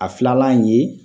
A filala ye